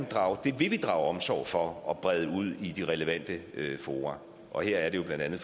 drage omsorg for at brede det ud i de relevante fora og her er det jo blandt andet